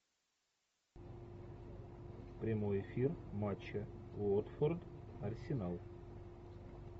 прямой эфир матча уотфорд арсенал